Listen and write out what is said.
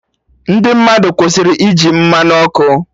Ndị mmadụ kwụsịrị iji Mmanụ ọkụ